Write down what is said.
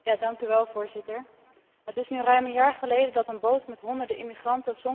Het is nu ruim een jaar geleden dat een boot met honderden immigranten zonk voor de kust van Lampedusa.